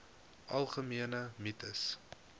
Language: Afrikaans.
algemene mites